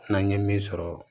N'an ye min sɔrɔ